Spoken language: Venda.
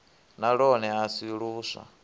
na lwone a si luswa